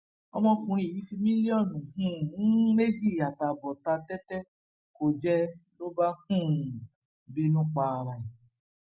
ọmọkùnrin yìí fi mílíọnù um méjì àtààbọ ta tẹtẹ kó jẹ ló bá um bínú para ẹ